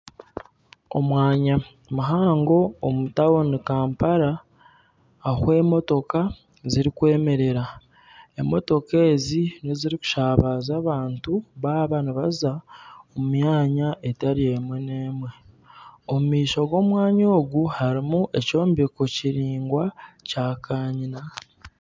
Omwanya muhango omu tawuni Kampala ahu emotooka zirikwemerera, emotooka ezi nezirikushabaza abantu baaba nibaza omu myanya etari emwe n'emwe omumaisho g'omwanya ogu harimu ekyombeko kiraingwa kya kanyina.